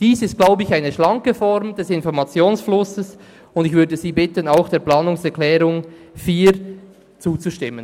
Ich glaube, dies ist eine schlanke Form des Informationsflusses, und ich würde Sie bitten, auch der Planungserklärung 4 zuzustimmen.